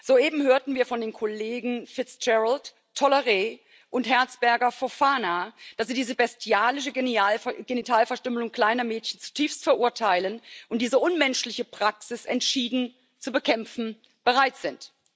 Soeben hörten wir von den Kollegen Fitzgerald, Tolleret und Herzberger Fofana, dass sie diese bestialische Genitalverstümmelung kleiner Mädchen zutiefst verurteilen und diese unmenschliche Praxis entschieden zu bekämpfen bereit sind.